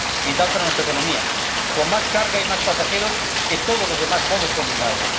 Vital para nuestra economía. Con más carga y más pasajeros que todos los demás modos combinados